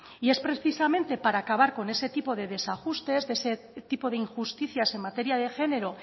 y es precisamente para acabar con ese tipo de desajustes ese tipo de injusticias en materia de género